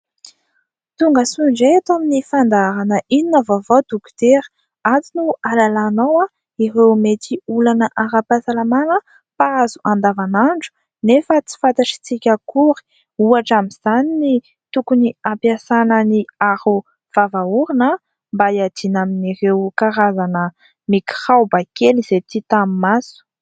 Tonga soa indray eto amin'ny fandaharana, Inona ny vaovao Dokotera, ato no ahalalànao ireo mety olana ara-pahasalamana mpahazo andavanandro nefa tsy fantantsika akory. Ohatra amin'izany ny tokony hampiasana ny aro vava-orona mba hiadiana amin'ireo karazana mikraoba kely izay tsy hita amin'ny maso.